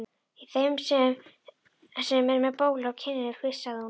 Í þeim sem er með bólu á kinninni flissaði hún.